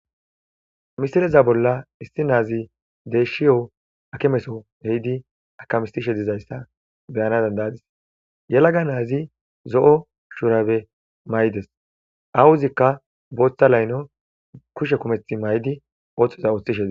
Misileza bolla issi nazi deyahiyo akimeso ehid akamisishe dizaysa beyana danda'adis. Yelaga Nazi zo'o shurabe mayides. Awozika Botha laylo kushe kumethi mayid othoza othishe Des.